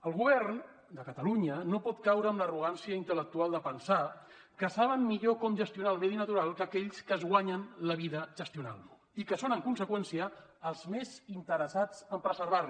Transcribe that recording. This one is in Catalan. el govern de catalunya no pot caure en l’arrogància intel·lectual de pensar que saben millor com gestionar el medi natural que aquells que es guanyen la vida gestionant lo i que són en conseqüència els més interessats en preservar lo